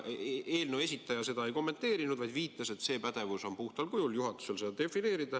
Eelnõu esitleja seda ei kommenteerinud, vaid viitas, et pädevus seda defineerida on puhtal kujul juhatusel.